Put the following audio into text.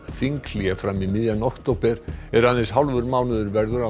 þinghlé fram í miðjan október er aðeins hálfur mánuður verður